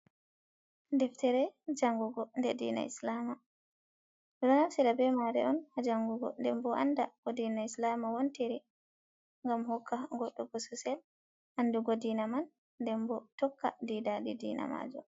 Deftere jangugo de dina islama ,lonal sida be made on ha jangugo denbo anda ko dina islama wontiri gam hokka goddo bo sosel andugo diina man denbo tokka diida de dina majum.